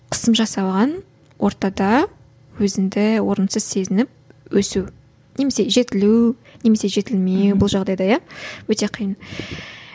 қысым жасалған ортада өзіңді орынсыз сезініп өсу немесе жетілу немесе жетілмеу бұл жағдайда иә өте қиын